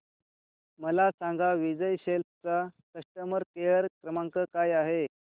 मला सांगा विजय सेल्स चा कस्टमर केअर क्रमांक काय आहे